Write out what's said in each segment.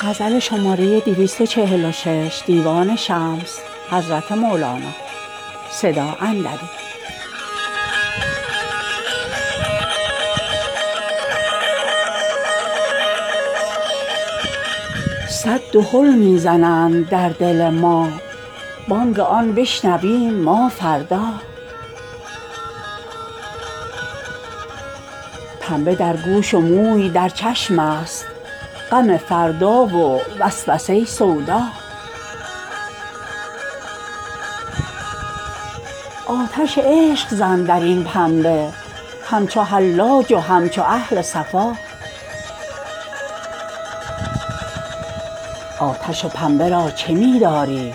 صد دهل می زنند در دل ما بانگ آن بشنویم ما فردا پنبه در گوش و موی در چشمست غم فردا و وسوسه سودا آتش عشق زن در این پنبه همچو حلاج و همچو اهل صفا آتش و پنبه را چه می داری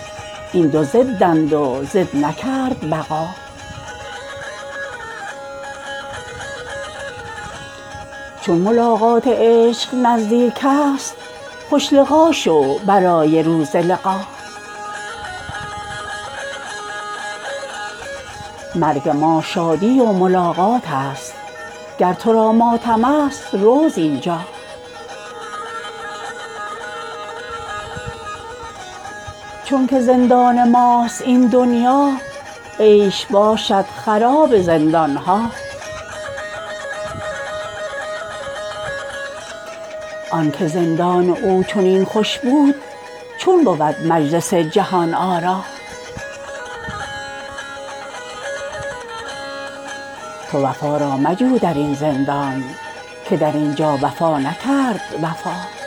این دو ضدند و ضد نکرد بقا چون ملاقات عشق نزدیکست خوش لقا شو برای روز لقا مرگ ما شادی و ملاقاتست گر تو را ماتمست رو زین جا چونک زندان ماست این دنیا عیش باشد خراب زندان ها آنک زندان او چنین خوش بود چون بود مجلس جهان آرا تو وفا را مجو در این زندان که در این جا وفا نکرد وفا